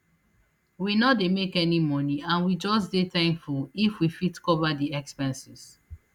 we no dey make any money and we just dey thankful if we fit cover di expenses